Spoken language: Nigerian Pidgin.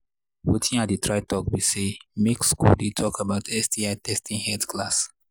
watin i they try talk be say make school they talk about sti testing health class